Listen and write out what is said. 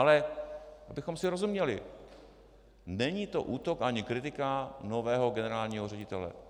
Ale abychom si rozuměli, není to útok ani kritika nového generálního ředitele.